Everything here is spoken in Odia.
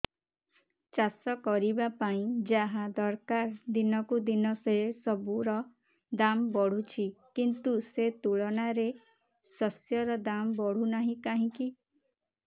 ଚାଷ କରିବା ପାଇଁ ଯାହା ଦରକାର ଦିନକୁ ଦିନ ସେସବୁ ର ଦାମ୍ ବଢୁଛି କିନ୍ତୁ ସେ ତୁଳନାରେ ଶସ୍ୟର ଦାମ୍ ବଢୁନାହିଁ କାହିଁକି